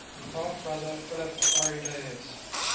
half brother philip arrhidaeus